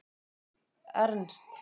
Ernst